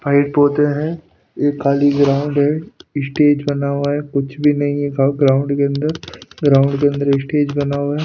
पौधे हैं एक खाली ग्राउंड है इशटेज बना हुआ है कुछ भी नहीं है गाउ ग्राउंड के अंदर ग्राउंड के अंदर स्टेज बना हुआ है।